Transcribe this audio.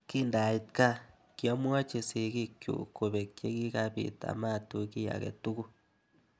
Kindait gaa, kiamwochi sikik chuk kobek che kikabit amatuch kiy ake tuku